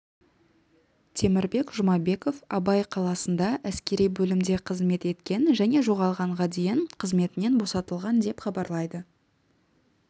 темірбек жұмабеков абай қаласында әскери бөлімде қызмет еткен және жоғалғанға дейін қызметінен босатылған деп хабарлайды